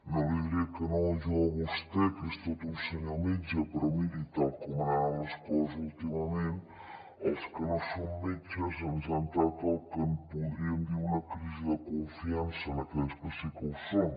no li diré que no jo a vostè que és tot un senyor metge però miri tal com han anat les coses últimament als que no som metges ens ha entrat el que en podríem dir una crisi de confiança en aquells que sí que ho són